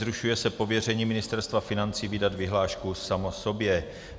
Zrušuje se pověření Ministerstva financí vydat vyhlášku samo sobě.